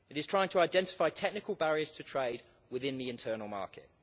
It is trying to identify technical barriers to trade within the internal market.